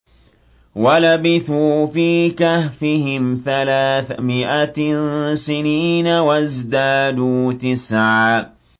وَلَبِثُوا فِي كَهْفِهِمْ ثَلَاثَ مِائَةٍ سِنِينَ وَازْدَادُوا تِسْعًا